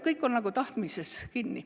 Kõik on tahtmises kinni.